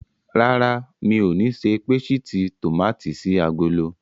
Rárá, mi ò ní ṣe pésìtì tòmátì sí agolo.